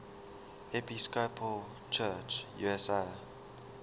episcopal church usa